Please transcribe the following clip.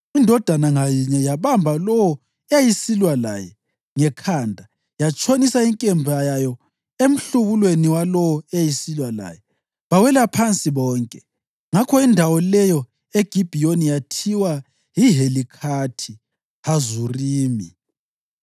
Indoda ngayinye yabamba lowo eyayisilwa laye ngekhanda yatshonisa inkemba yayo emhlubulweni walowo eyayisilwa laye, bawela phansi bonke. Ngakho indawo leyo eGibhiyoni yathiwa yiHelikhathi Hazurimi.